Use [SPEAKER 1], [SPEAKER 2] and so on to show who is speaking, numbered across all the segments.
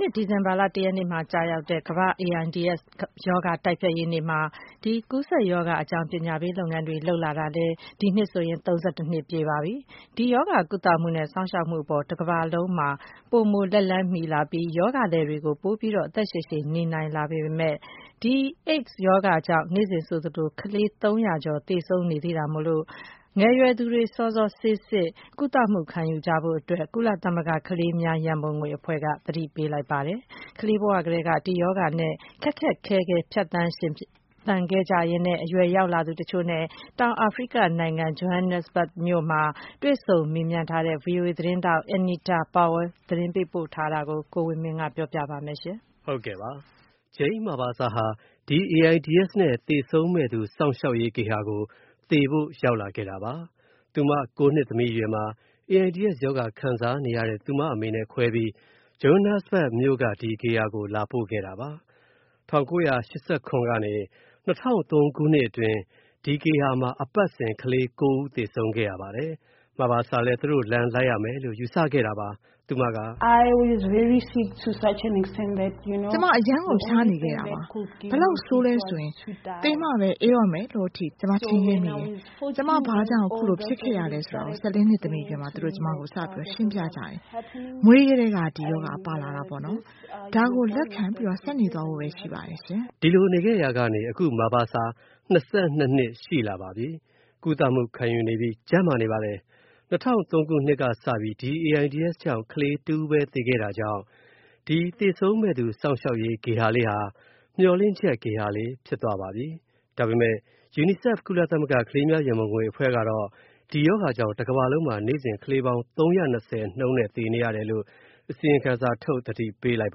[SPEAKER 1] နှစ်စဉ် ဒီဇင်ဘာလ ၁ ရက်နေ့မှာကျရောက်တဲ့ ကမ္ဘာ့ AIDS ရောဂါတိုက်ဖျက်ရေးနေ့မှာ ဒီကူးစက်ရောဂါနဲ့ ပတ်သက်ပြီး ပညာပေးလုပ်ငန်းတွေ လုပ်လာတာ ဒီနှစ်ဆိုရင် ၃၁ နှစ်ပြည့်ပါပြီ။ ဒီရောဂါ ကုသမူနဲ့ စောင့်ရှောက်မူအပေါ် တကမ္ဘာလုံးမှာ ပိုမိုလက်လှမ်းမီလာပြီး ရောဂါသည်တွေ ပိုပြီး အသက်ရှည်ရှည်နေနိုင်လာပေမယ့် ဒီ AIDS ရောဂါကြောင့် နေ့စဉ် ကလေး ၃၀၀ ကျော် သေဆုံး နေရသေးတာမို့ ငယ်ရွယ်သူတွေ စောစောဆေးစစ်၊ ကုသမူခံယူကြဖို့ ကုလသမဂ္ဂ ကလေးများ ရန်ပုံငွေအဖွဲ့က သတိပေးလိုက်ပါတယ်။ ကလေးဘဝကတည်းက ဒီရောဂါနဲ့ ခက်ခက်ခဲခဲ ဖြတ်သန်း ရှင်သန်ခဲ့ရပြီး အရွယ်ရောက်နေကြပြီးဖြစ်သူတချို့နဲ့ တောင်အာဖရိကနိုင်ငံ Johannesburg မြို့မှာ တွေ့ဆုံမေးမြန်းခဲ့တဲ့ VOA သတင်းထောက် Anita Powell ပေးပို့ထားတဲ့သတင်းလွှာကို ကိုဝင်းမင်းက ပြောပြပါမယ်။
[SPEAKER 2] Jane Mabasa ဟာ AIDS နဲ့ သေဆုံးမယ့်သူ စောင့်ရှောက်ရေးဂေဟာကို ရောက်လာခဲ့တာပါ။ သူမ ၉ နှစ်သမီးအရွယ်မှာ AIDS ရောဂါ ခံစားနေရတဲ့ သူမအမေနဲ့ ခွဲပြီး Johannesburg မြို့က ဂေဟာကို လာပို့ခဲ့တာပါ။ ၁၉၈၇ ကနေ ၂၀၀၃ ခုနှစ်အတွင်း ဒီ ဂေဟာမှာ အပတ်စဉ် ကလေး ၉ ဦးသေဆုံးခဲ့ရပါတယ်။ Mabasa လည်းသူတို့ လမ်းလိုက်ရမယ်လို့ ယူဆခဲ့တာပါ။ သူမက “
[SPEAKER 3] ကျွန်မ အရမ်းကို ဖျားနေခဲ့တာပါ။ ဘယ်လောက်ဆိုးလဲဆိုရင် သေမှပဲ အေးတော့မယ်လို့ အထိ ထင်ခဲ့တာပါ။ ကျွန်မ ဘာကြောင့် ခုလိုဖြစ်ခဲ့တာကို ၁၄ နှစ်သမီးအရွယ်မှာ သူတို့ ကျွန်မကို စရှင်းပြကြပါတယ်၊ မွေးကတဲက ဒီရောဂါ ပါလာတာပေါ့နော်၊ ဒါကို လက်ခံပြီး ဆက်နေသွားဖို့ပဲရှိတယ်ပေါ့နော်။
[SPEAKER 2] ” ဒီလိုနေခဲ့ရာကနေ အခု Mabasa ၂၂ နှစ်ရှိလာပါပြီ။ ကုသမှု ခံယူနေပြီး ကျန်းမာနေပါတယ်။ ၂၀၀၃ ခုနှစ်ကစပြီး AIDS ကြောင့် ကလေး ၁ ဦးပဲ သေခဲ့တာကြောင့် သေဆုံးမယ့်သူ စောင့်ရှောက်ရေး ဂေဟာလေးဟာ မျှော်လင့်ချက် ဂေဟာလေး ဖြစ်သွားပါပြီ။ ဒါပေမယ့် UNICEF ကုလသမဂ္ဂ ကလေးများ ရန်ပုံငွေအဖွဲ့ကတော့ ဒီရောဂါကြောင့် တကမ္ဘာလုံးမှာ နေ့စဉ် ကလေးပေါင်း ၃၂၀ နှုန်းနဲ့ သေနေရတယ်လို့ အစီရင်ခံစာထုတ် သတိပေး လိုက်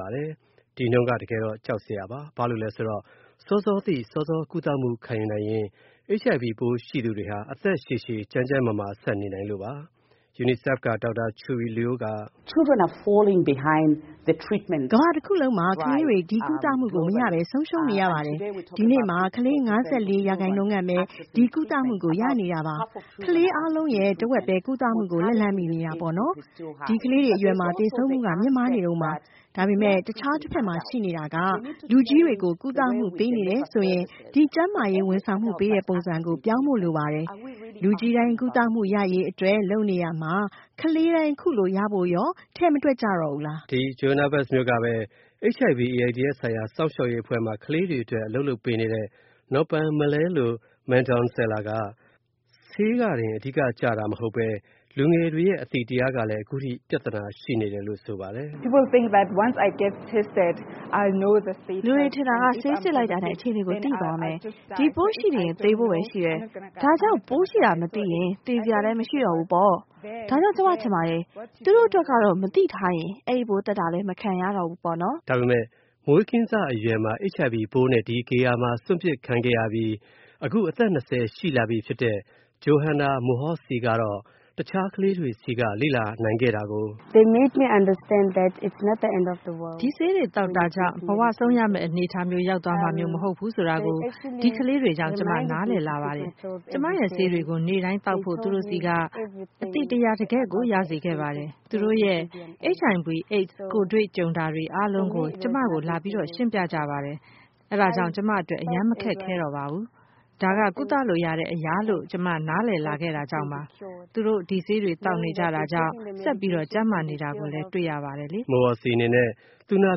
[SPEAKER 2] ပါတယ်။ ဒီနှုန်းက တကယ်တော့ ကြောက်စရာပါ၊ စောစောသိ စောစော ကုသမှု ခံယူနိုင်ရင် HIV ပိုးရှိသူတွေဟာ အသက်ရှည်ရှည် ကျန်းကျန်းမာမာ ဆက်နေနိုင်လို့ပါ။ UNICEF က Dr. Chewe Luo က “
[SPEAKER 3] ကမ္ဘာတစ်ခုလုံးမှာ ကလေးတွေ ဒီကုသမူကို မရနိုင်ဘဲ ဆုံးရှုံးနေရပါတယ်။ ဒီနေ့မှာ ကလေး ၅၄% ခန့်ပဲ ဒီကုသမူကို ရနေတာပါ။ ကလေးအားလုံးရဲ့ တဝက်ပဲ ကုသမူကို လက်လှမ်းမီနေတာပေါ့နော်
[SPEAKER 1] ။ ဒီကလေးအရွယ်တွေမှာ သေဆ
[SPEAKER 3] ုံးမူက မြင့်မားနေတုန်းပါ။ ဒါပေမဲ့ အခြားတဖက်မှာရှိနေတာက၊ လူကြီးတွေကို ကုသမုပေးနေတယ်ဆိုရင် ဒီကျန်းမာရေး ဝန်ဆောင်မူပေးတဲ့ပုံစံကို ပြောင်းဖို့လိုပါတယ်။ လူကြီးတိုင်း ကုသမူရရေး အတွက် လုပ်နေရာမှာ၊ ကလေးတိုင်း ခုလိုရဖို့ရော ထဲ့ မတွက်ကြတော့ဘူးလား
[SPEAKER 2] ။” Johannesburg မြို့မှာပဲ HIV/ AIDS ဆိုင်ရာ စောင့်ရှောက်ရေး ဂေဟာမှာ ကလေးတွေအတွက် အလုပ်လုပ် ပေးနေတဲ့ Nompumelelo Madonsela က ဆေးက အဓိက ကျတာမဟုတ်ပဲ လူငယ်တွေရဲ့ အသိတရားကလည်း အခုအထိ ပြဿနာဖြစ်နေတယ်လို့ ပြောပါတယ်။ “
[SPEAKER 3] လူတွေထင်တာက ဆေးစစ်လိုက်တာနဲ့ အခြေအနေကို သိသွားမယ်။ ဒီပိုးရှိနေရင် သေဖို့ပဲရှိတယ်။ ဒါကြောင့် ပိုးရှိတာမသိရင် သေစရာလဲ မရှိဘူးတော့ဘူးပေါ့။ ဒါကြောင့် ကျွန်မထင်ပါတယ်၊ သူတို့အတွက်ကတော့ မသိထားရင် အဲ့ဒိပိုး သတ်တာလည်းမခံရတော့ဘူးပေါ့
[SPEAKER 2] နော်။” ဒါပေမယ့် မွေးကင်းစအရွယ်မှာ HIV ပိုးနဲ့ ဒီဂေဟာမှာ စွန့်ပစ်ခံခဲ့ရပြီး အခု အသက် ၂၀ ရှိလာပြီဖြစ်တဲ့ Johanna Mogotsi ကတော့ တခြားကလေးတွေဆီကနေ လေ့လာနိုင်ခဲ့တာကို
[SPEAKER 1] “ဒီဆေးတွေသောက်တာကြောင့် ဘဝဆုံးရမဲ့ အနေအထားရောက်သွားမှာမျိုး မဟုတ်ဘူးဆိုတာကို ဒီကလေးတွေကြောင့် ကျွန်မ နားလည်လာပါတယ်။ ကျွန်မရဲ့ဆေးတွေကို နေ့စဉ်သောက်ဖို့ သူတို့ဆီက အသိတရား တကယ့်ကို ရစေခဲ့ပါတယ်။ သူတို့ရဲ့ HIV| AIDS ကိုယ်တွေ့ကြုံတာအားလုံးကို၊ ကျွန်မကို လာရှင်းပြကြပါတယ်။ အဲဒါကြောင့် ကျွန်မအတွက် အရမ်းမခက်ခဲတော့ပါဘူး၊ ဒါက ကုသလို့ရတဲ့အရာလို့ ကျွန်မ နားလည်လာခဲ့တာကြောင့်ပေါ့။ သူတို့ ဒီ ဆေးတွေသောက်နေတာကြောင့် ဆက်ကျန်းမာနေတာကို တွေ့နေရတယ်လေ။
[SPEAKER 2] ” Mogotsi အနေနဲ့ သူနာ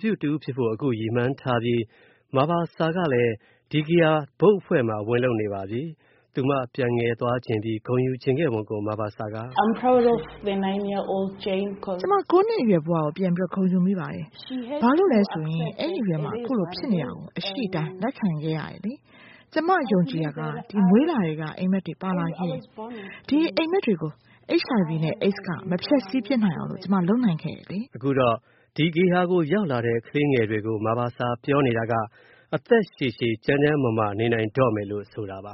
[SPEAKER 2] ပြုတဦးဖြစ်ဖို့ အခုရည်မှန်းထားပြီး Mabasa ကလည်း ဒီ ဂေဟာ ဘုတ်အဖွဲ့မှာ ဝင်လုပ်နေပါပြီ။ သူမ ပြန်ငယ်သွားချင်ပြီး ဂုဏ်ယူချင်ခဲ့ပုံကို Mabasa က “က
[SPEAKER 3] ျွန်မ ၉ နှစ်အရွယ်ဘဝကို ပြန်ဂုဏ်ယူနေမိပါတယ်။ ဘာလို့လဲဆိုတော့ အဲ့ဒီအရွယ်မှာ ခုလိုဖြစ်နေတာကို အရှိအတိုင်း လက်ခံခဲ့ရတယ်လေ။ ကျွန်မ ယုံကြည်တာက မွေးလာကထဲက အိမ်မက်တွေ ပါလာခဲ့တယ်၊ ကျွန်မ ကိုယ်ပိုင်အိမ်မက်တွေပေါ့။ ဒီအိမ်မက်တွေကို HIV နဲ့ AIDS က မဖျက်ဆီးပစ်နိုင်အောင် ကျွန်မလုပ်နိုင်ခဲ့တယ်လေ။
[SPEAKER 2] ” အခုတော့ ဒီဂေဟာကို ရောက်လာတဲ့ ကလေးငယ်တွေကို Mabasa ပြောနေတာက အသက်ရှည်ရှည်၊ ကျန်းကျန်းမာမာ နေနိုင်တော့မယ်လို့ ဆိုတာပါ